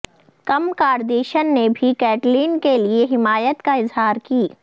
کم Kardashian نے بھی Caitlyn کے لیے حمایت کا اظہار کی